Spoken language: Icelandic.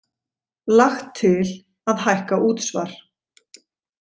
Lagt til að hækka útsvar